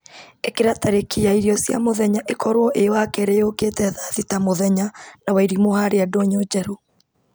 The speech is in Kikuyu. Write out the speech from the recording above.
ĩkĩra tarĩki ya irio cia mũthenya ĩkorwo ĩ wakerĩ yũkĩte thaa thita mũthenya na wairimũ harĩa ndũnyũ njerũ